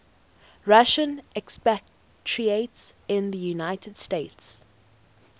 russian expatriates in the united states